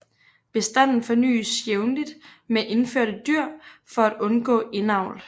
Bestanden fornyes jævnligt med indførte dyr for at undgå indavl